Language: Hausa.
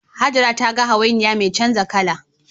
Hajara ta ga hawainiya mai canza kala